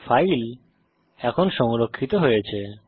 file এখন সংরক্ষিত হয়েছে